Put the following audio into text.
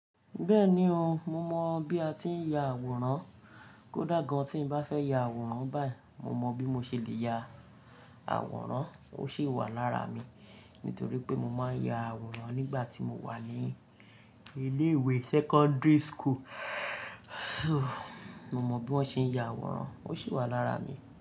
Bẹ́ẹ̀ni o, mo mọ bí a tí ń ya àwòrán. Kódà gan tí n bá fẹ́ ya àwòrán báyìí, mo mọ bí mo ṣe lè ya àwòrán. Ó sì wà lára mi nítorí pé mo máa ń ya àwòrán nígbà tí mo wà ní ilé ìwé secondary school. Mo mọ bí wọ́n ṣe ń ya àwòrán, ó sì wà lára mi.